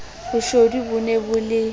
boshodu bo ne bo le